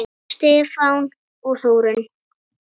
Stefán og Þórunn.